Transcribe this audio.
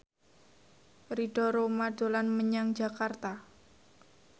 Ridho Roma dolan menyang Jakarta